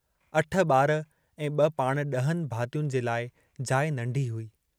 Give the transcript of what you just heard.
अठ बार ऐं ब पाण डहनि भातियुनि जे लाइ जाइ नंढी हुई।